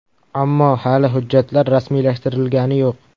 Ammo hali hujjatlar rasmiylashtirilgani yo‘q.